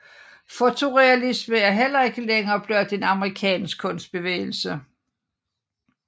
Fotorealisme er heller ikke længere blot en amerikansk kunstbevægelse